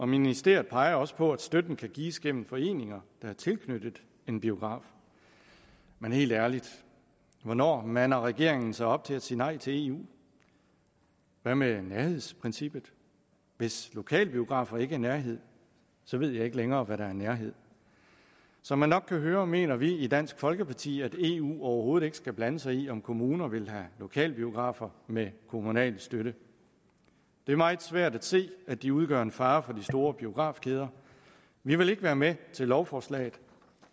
ministeriet peger også på at støtten kan gives gennem foreninger der er tilknyttet en biograf men helt ærligt hvornår mander regeringen sig op til at sige nej til eu hvad med nærhedsprincippet hvis lokalbiografer ikke er nærhed ved jeg ikke længere hvad der er nærhed som man nok kan høre mener vi i dansk folkeparti at eu overhovedet ikke skal blande sig i om kommuner vil have lokalbiografer med kommunal støtte det er meget svært at se at de udgør en fare for de store biografkæder vi vil ikke være med til lovforslaget